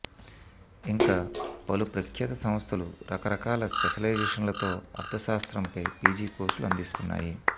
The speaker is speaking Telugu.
ఇంకా పలు ప్రఖ్యాత సంస్థలు రకరకాల స్పెషలైజేషన్లతో అర్థశాస్త్రంపై పీజీ కోర్సులు అందిస్తున్నాయి